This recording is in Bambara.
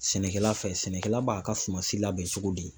Sɛnɛkɛla fɛ, sɛnɛkɛla b'a ka suma si labɛn cogo di?